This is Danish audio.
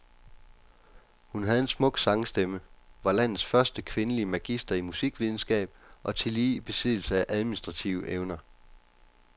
Hun havde en smuk sangstemme, var landets første kvindelige magister i musikvidenskab og tillige i besiddelse af administrative evner.